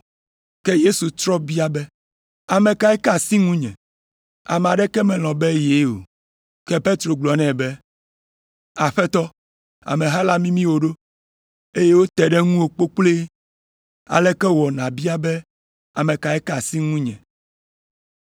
Ke Yesu trɔ bia be, “Ame kae ka asi ŋunye?” Ame aɖeke melɔ̃ be yee o. Ke Petro gblɔ nɛ be, “Aƒetɔ ameha la mimi wò ɖo, eye wote ɖe ŋuwò kpokploe, aleke wɔ nàbia be ame kae ka asi ye ŋu?”